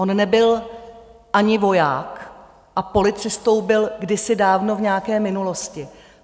On nebyl ani voják a policistou byl kdysi dávno v nějaké minulosti.